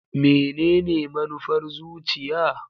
Menene manufar zuciya?